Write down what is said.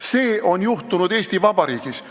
See on juhtunud Eesti Vabariigis.